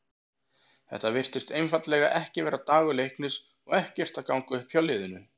Þetta virtist einfaldlega ekki vera dagur Leiknis og ekkert að ganga upp hjá liðinu.